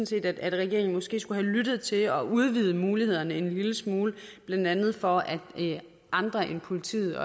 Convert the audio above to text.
set at regeringen måske skulle have lyttet til det og udvidet mulighederne en lille smule blandt andet for at andre end politiet